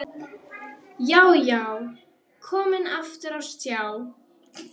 Já, já, komin aftur á stjá!